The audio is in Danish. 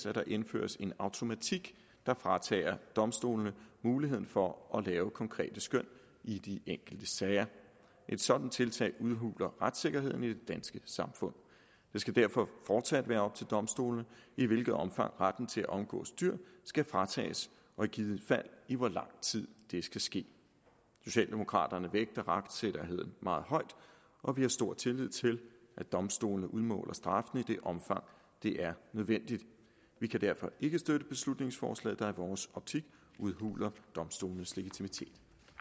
at der indføres en automatik der fratager domstolene muligheden for at lave konkrete skøn i de enkelte sager et sådant tiltag udhuler retssikkerheden i det danske samfund det skal derfor fortsat være op til domstolene i hvilket omfang retten til at omgås dyr skal fratages og i givet fald i hvor lang tid det skal ske socialdemokraterne vægter retssikkerheden meget højt og vi har stor tillid til at domstolene udmåler straffene i det omfang det er nødvendigt vi kan derfor ikke støtte beslutningsforslaget der i vores optik udhuler domstolenes legitimitet